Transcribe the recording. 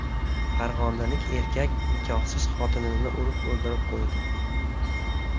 Farg‘onalik erkak nikohsiz xotinini urib o‘ldirib qo‘ydi.